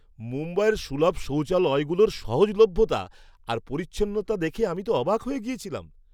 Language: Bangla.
মুম্বাইয়ের সুলভ শৌচালয়গুলোর সহজলভ্যতা আর পরিচ্ছন্নতা দেখে আমি তো অবাক হয়ে গিয়েছিলাম!